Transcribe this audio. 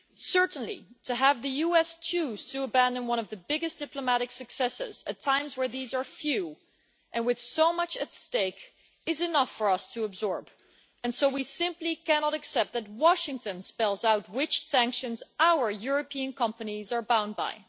Certainly, to have the US choose to abandon one of the biggest diplomatic successes at times where these are few and with so much at stake is enough for us to absorb, and so we simply cannot accept that Washington spells out which sanctions our European companies are bound by.